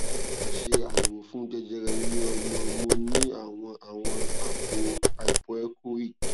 a ṣe àyẹwò fún jẹjẹrẹ ile omo mo ní àwọn àwọn àpò hypoechoic